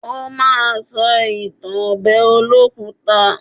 Ó ma sọ ìtàn ọbẹ̀ olókùta.